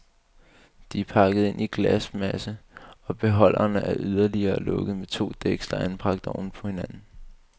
De er pakket ind i glasmasse og beholderen er yderligere lukket med to dæksler anbragt oven på hinanden.